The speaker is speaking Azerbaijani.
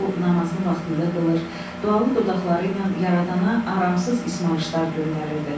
O namazını vaxtında qılır, dualı dodaqları ilə yaradana aramsız ismarışlar göndərirdi.